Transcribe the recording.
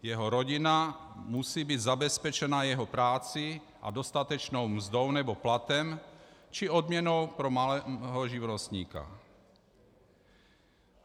Jeho rodina musí být zabezpečena jeho prací a dostatečnou mzdou nebo platem či odměnou pro malého živnostníka.